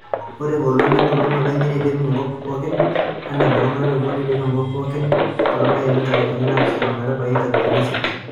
Ore engolon enkolong openy neidip enkop pookin, ore ekolong o lari obo neidip enkop pookin too latin ikalifuni naapishana ometabaiki inkalifun isiet